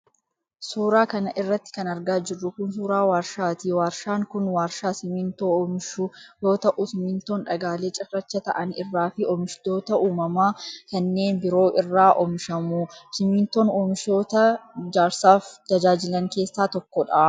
Suura kana irratti kan argaa jirru kun, suura warshaati. Warshaan kun, warshaa simiintoo oomishu yoo ta'u, simiintoon dhagaalee cirracha ta'an irraa fi oomishoota uumamaa kanneen biroo irraa oomishamu. Simiintoon, oomishoota ijaarsaaf tajaajilan keessaa tokko dha.